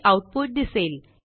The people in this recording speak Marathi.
हे आऊटपुट दिसेल